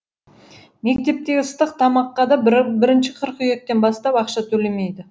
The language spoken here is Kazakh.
мектептегі ыстық тамаққа да бірінші қыркүйектен бастап ақша төлемейді